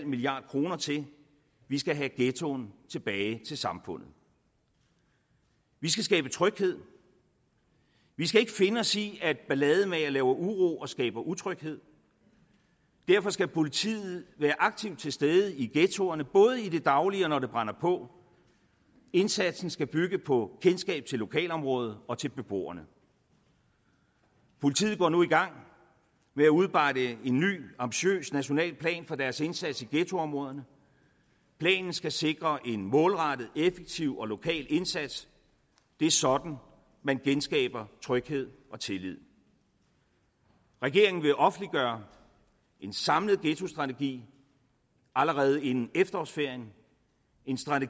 milliard kroner til vi skal have ghettoen tilbage til samfundet vi skal skabe tryghed vi skal ikke finde os i at ballademagere laver uro og skaber utryghed derfor skal politiet være aktivt til stede i ghettoerne både i det daglige og når det brænder på indsatsen skal bygge på kendskab til lokalområdet og til beboerne politiet går nu i gang med at udarbejde en ny ambitiøs national plan for deres indsats i ghettoområderne planen skal sikre en målrettet effektiv og lokal indsats det er sådan man genskaber tryghed og tillid regeringen vil offentliggøre en samlet ghettostrategi allerede inden efterårsferien en strategi